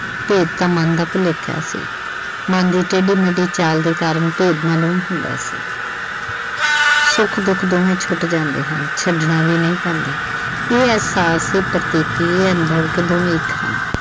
ਭੇਤ ਤਾਂ ਮਨ ਦਾ ਭੁਲੇਖਾ ਸੀ ਮਨ ਦੇ ਟੇਢੇ ਮੇਢੇ ਖਿਆਲ ਦੇ ਕਾਰਨ ਭੇਦ ਮਾਲੂਮ ਹੁੰਦਾ ਸੀ ਸੁੱਖ ਦੁੱਖ ਦੋਵੇਂ ਛੁੱਟ ਜਾਂਦੇ ਹਨ। ਛੱਡਣਾ ਵੀ ਨਹੀਂ ਪੈਂਦਾ ਇਹ ਅਹਿਸਾਸ ਦੀ ਪ੍ਰਕਿਰਤੀ ਹੈ ਦੋਵੇਂ ਇੱਕ ਹਨ।